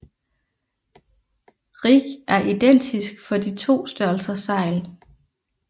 Rig er identisk for de to størrelser sejl